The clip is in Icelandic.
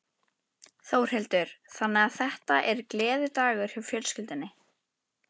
Þórhildur: Þannig að þetta er gleðidagur hjá fjölskyldunni?